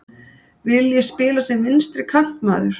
Vil ég spila sem vinstri kantmaður?